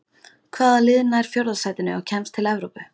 Hvaða lið nær fjórða sætinu og kemst til Evrópu?